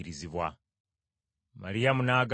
Maliyamu n’agamba nti,